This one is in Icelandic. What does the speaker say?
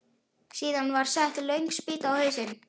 Síðan var sett löng spýta á hausinn.